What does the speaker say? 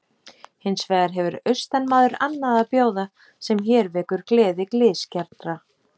Hins vegar hefur austanmaður annað að bjóða sem hér vekur gleði glysgjarnra.